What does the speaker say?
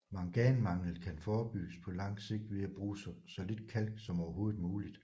Manganmangel kan forebygges på langt sigt ved at bruge så lidt kalk som overhovedet muligt